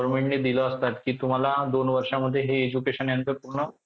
असतात कि तुम्हाला दोन वर्षांमध्ये हे education हे यांचं पूर्ण